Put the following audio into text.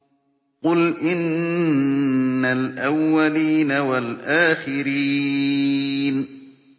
قُلْ إِنَّ الْأَوَّلِينَ وَالْآخِرِينَ